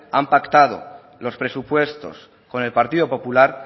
han pactado los presupuestos con el partido popular